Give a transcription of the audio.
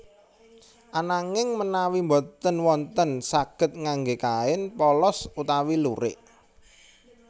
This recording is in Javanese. Ananging menawi boten wonten saged ngangge kain polos utawi lurik